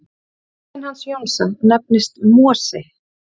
Bíllinn hans Jóns nefnist Mosi.